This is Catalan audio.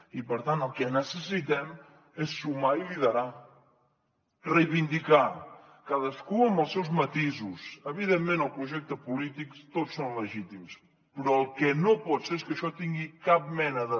i per tant el que necessitem és sumar i liderar reivindicar cadascú amb els seus matisos evidentment els projectes polítics tots són legítims però el que no pot ser és que això tingui cap mena de